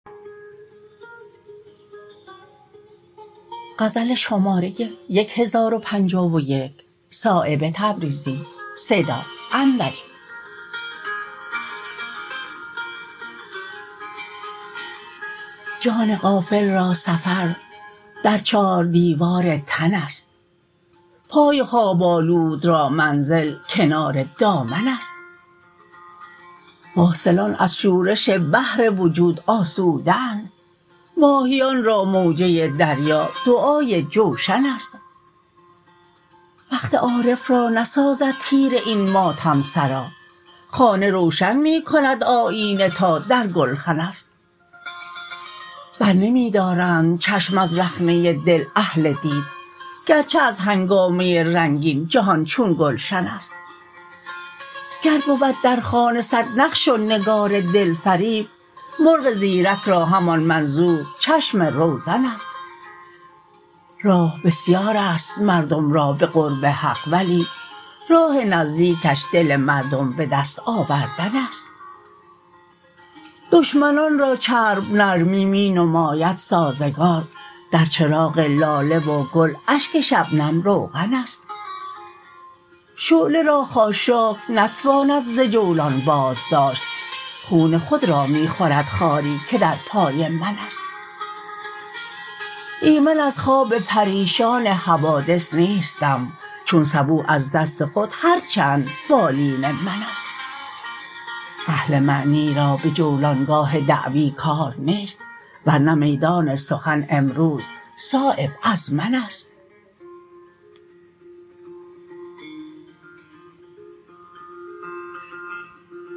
جان غافل را سفر در چار دیوار تن است پای خواب آلود را منزل کنار دامن است واصلان از شورش بحر وجود آسوده اند ماهیان را موجه دریا دعای جوشن است وقت عارف را نسازد تیره این ماتم سرا خانه روشن می کند آیینه تا در گلخن است برنمی دارند چشم از رخنه دل اهل دید گرچه از هنگامه رنگین جهان چون گلشن است گر بود در خانه صد نقش و نگار دلفریب مرغ زیرک را همان منظور چشم روزن است راه بسیارست مردم را به قرب حق ولی راه نزدیکش دل مردم به دست آوردن است دشمنان را چرب نرمی می نماید سازگار در چراغ لاله و گل اشک شبنم روغن است شعله را خاشاک نتواند ز جولان بازداشت خون خود را می خورد خاری که در پای من است ایمن از خواب پریشان حوادث نیستم چون سبو از دست خود هر چند بالین من است اهل معنی را به جولانگاه دعوی کار نیست ورنه میدان سخن امروز صایب از من است